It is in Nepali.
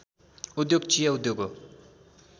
उद्योग चिया उद्योग हो